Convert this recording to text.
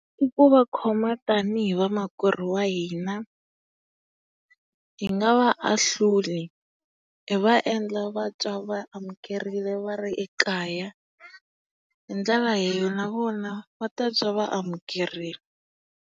I ku va khoma tanihi vamakwerhu wa hina. Hi nga va ahluli, hi va endla va twa va amukerile va ri ekaya. Hi ndlela leyi na vona va ta twa va amukerile.